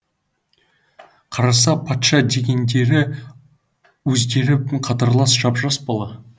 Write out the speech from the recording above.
қараса патша дегендері өздері қатарлас жап жас бала